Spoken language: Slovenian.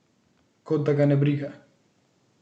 Kot da ga ne briga.